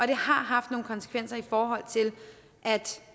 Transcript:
det har haft nogle konsekvenser i forhold til at